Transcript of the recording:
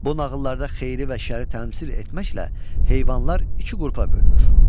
Bu nağıllarda xeyri və şəri təmsil etməklə heyvanlar iki qrupa bölünür.